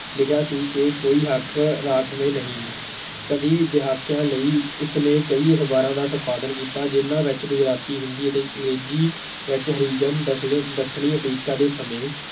ਲਿਖਿਆ ਸੀ ਕਿ ਕੋਈ ਹੱਕ ਰਾਖਵੇਂ ਨਹੀਂ, ਕਈ ਦਹਾਕਿਆਂ ਲਈ ਇਸਨੇ ਕਈ ਅਖ਼ਬਾਰਾਂ ਦਾ ਸੰਪਾਦਨ ਕੀਤਾ, ਜਿਹਨਾਂ ਵਿੱਚ ਗੁਜਰਾਤੀ, ਹਿੰਦੀ ਅਤੇ ਅੰਗਰੇਜ਼ੀ ਵਿੱਚ ਹਰੀਜਨ ਦੱਖਣੀ ਅਫ਼ਰੀਕਾ ਦੇ ਸਮੇਂ